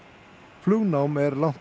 flugnám er langt